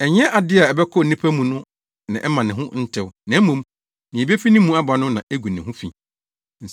Ɛnyɛ ade a ɛbɛkɔ onipa mu no na ɛmma ne ho ntew, na mmom, nea ebefi ne mu aba no na egu ne ho fi.”